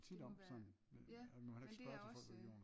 Det må være ja men det er også